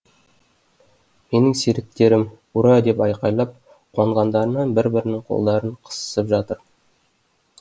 менің серіктерім ура деп айқайлап қуанғандарынан бір бірінің қолдарын қысысып жатыр